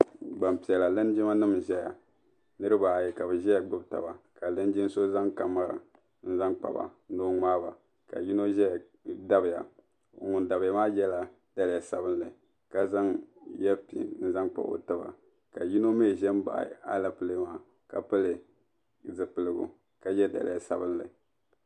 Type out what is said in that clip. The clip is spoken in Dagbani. Gbanpiɛla linjimanim n zaya niribi baayi ka bi ʒiya gbubi taba ka linjin so zaŋ kamara n zan kpa ni o ŋmaai ba ka yino dabiya ŋun dabiya maa yela liiga sabinli ka zaŋ yeya ka yino mi ʒe m baɣa alɛpelee maa ka pili zipiligu ka ye daliya sabinli.